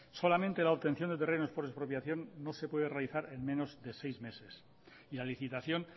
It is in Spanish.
solamente la obtención de terrenos por expropiación no se puede realizar en menos de seis meses y la licitación